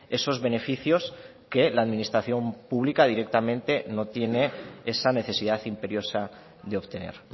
esos beneficios que la administración pública directamente no tiene esa necesidad imperiosa de obtener